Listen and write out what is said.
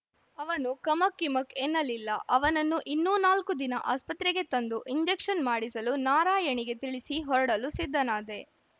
ಅವನು ಕಮಕ್‌ ಕಿಮಕ್‌ ಎನ್ನಲಿಲ್ಲ ಅವನನ್ನು ಇನ್ನೂ ನಾಲ್ಕು ದಿನ ಆಸ್ಪತ್ರೆಗೆ ತಂದು ಇಂಜೆಕ್ಷನ್‌ ಮಾಡಿಸಲು ನಾರಾಯಣಿಗೆ ತಿಳಿಸಿ ಹೊರಡಲು ಸಿದ್ಧನಾದೆ